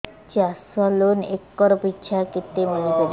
ଚାଷ loan acre ପିଛା କେତେ ମିଳି ପାରିବ